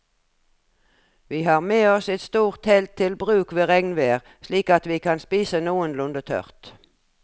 Vi har med oss et stort telt til bruk ved regnvær slik at vi kan spise noenlunde tørt.